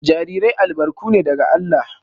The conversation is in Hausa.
Jarirai albarku ne daga Allah